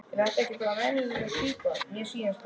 Er þetta ekki bara venjuleg pípa, mér sýnist það.